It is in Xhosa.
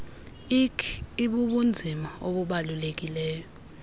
ik ibubunzima obubalulekileyo